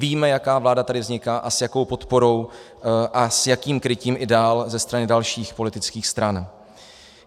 Víme, jaká vláda tady vzniká a s jakou podporou a s jakým krytím i dál ze strany dalších politických stran.